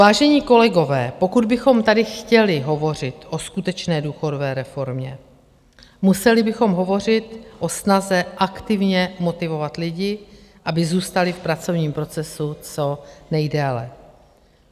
Vážení kolegové, pokud bychom tady chtěli hovořit o skutečné důchodové reformě, museli bychom hovořit o snaze aktivně motivovat lidi, aby zůstali v pracovním procesu co nejdéle.